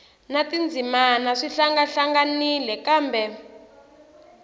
na tindzimana swi hlangahlanganile kambe